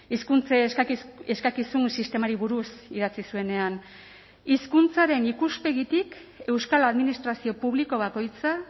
hizkuntza eskakizun sistemari buruz idatzi zuenean hizkuntzaren ikuspegitik euskal administrazio publiko bakoitza